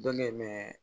Dɔ bɛ yen mɛ